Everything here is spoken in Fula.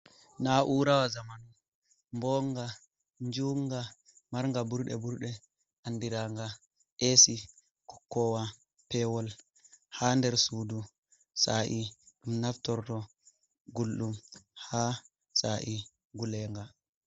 Na'urawa zamanu mbonga njunga marnga ɓurɗe burɗe andiraga esi ɓokkowa pewol ha nder sudu sa’i ɗum naftorto gulɗum ha sa’i ngulenga.